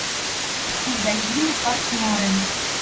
есть магазины партнёры